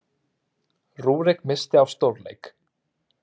Rúrik missti af stórleik